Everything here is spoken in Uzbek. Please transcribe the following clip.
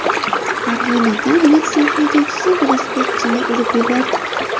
Farg‘onada Nexia haydovchisi velosipedchini urib yubordi.